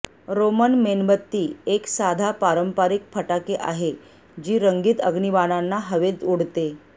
Roman मेणबत्ती एक साधा पारंपारिक फटाके आहे जी रंगीत अग्निबाणांना हवेत उडते